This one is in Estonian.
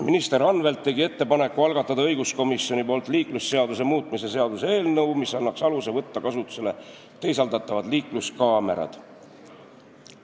Minister Anvelt tegi ettepaneku, et õiguskomisjon algataks liiklusseaduse muutmise seaduse eelnõu, mis annaks aluse võtta kasutusele teisaldatavad liikluskaamerad.